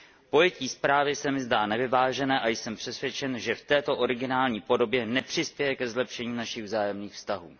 Pojetí zprávy se mi zdá nevyvážené a jsem přesvědčen, že v této originální podobě nepřispěje ke zlepšení našich vzájemných vztahů.